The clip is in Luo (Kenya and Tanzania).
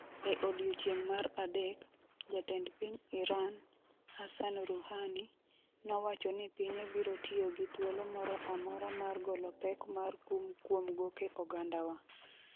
E odiechieng' mar adek, jatend piny Iran, Hassan Rouhani, nowacho ni pinye biro tiyo gi "thuolo moro amora" mar "golo pek mar kum kuom goke ogandawa".